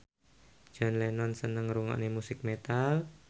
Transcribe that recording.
John Lennon seneng ngrungokne musik metal